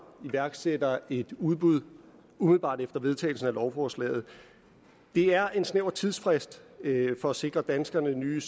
iværksætter et udbud umiddelbart efter vedtagelsen af lovforslaget det er en snæver tidsfrist for at sikre danskerne nye